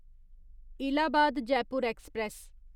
Allahabad Jaipur express